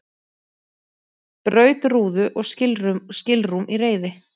Braut rúðu og skilrúm í reiði